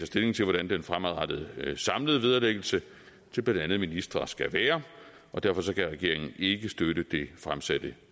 stilling til hvordan den fremadrettede samlede vederlæggelse til blandt andet ministre skal være og derfor kan regeringen ikke støtte det fremsatte